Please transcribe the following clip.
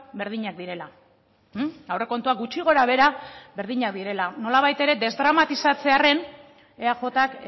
berdinak direla aurrekontuak gutxi gora behera berdinak direla nolabait ere desdramatizatzearren eajk